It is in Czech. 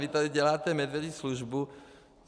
Vy tady děláte medvědí službu.